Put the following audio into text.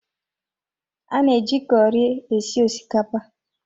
A na-eji kọri esi osikapa